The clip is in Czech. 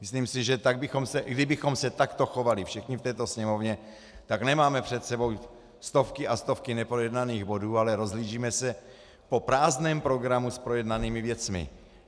Myslím si, že kdybychom se takto chovali všichni v této Sněmovně, tak nemáme před sebou stovky a stovky neprojednaných bodů, ale rozhlížíme se po prázdném programu s projednanými věcmi.